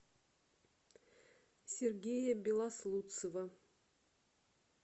сергея белослудцева